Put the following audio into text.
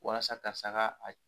Walasa karisa ka a